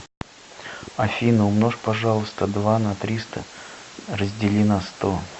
афина умножь пожалуйста два на триста раздели на сто